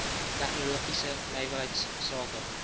tegnologiese nywerheids sake